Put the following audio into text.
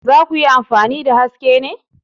Za ku yi amfani da Haske ne?